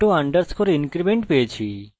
এটি একটি স্বয়ং বৃদ্ধি